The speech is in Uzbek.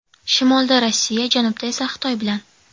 Shimolda Rossiya, janubda esa Xitoy bilan.